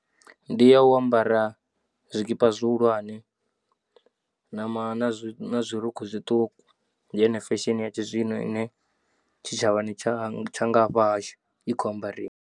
Ndi a u ambara zwikipa zwihulwane na ma na zwi na zwirukhukhu zwiṱuku ndi yone fesheni ya tshizwino ine tshitshavhani tsha tsha nga hafha hashu i khou amba riwa.